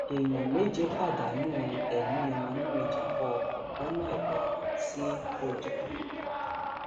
èèyàn méje pàdánù um ẹmí wọn nínú ìjàmbá ọkọ lọnà ìlọrin um ṣibojàn